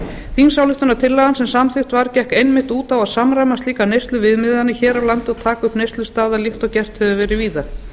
þingsályktunartillagan sem samþykkt var gekk einmitt út á að samræma slíkar neysluviðmiðanir hér á landi og taka upp neyslustaðal eitt og gert hefur verið víða